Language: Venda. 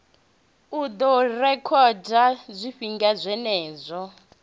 u ḓo rekhoda zwifhinga zwenezwo